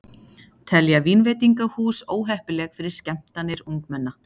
Telja vínveitingahús óheppileg fyrir skemmtanir ungmenna